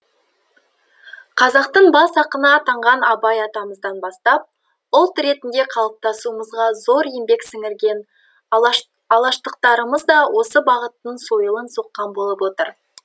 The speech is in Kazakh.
қазақтың бас ақыны атанған абай атамыздан бастап ұлт ретінде қалыптасуымызға зор еңбек сіңірген алаштықтарымыз да осы бағыттың сойылын соққан болып отыр